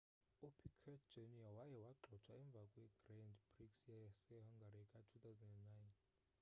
upiquet jr waye wagxothwa emva kwegrand prix yasehungary ka-2009